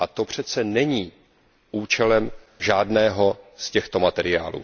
A to přece není účelem žádného z těchto materiálů.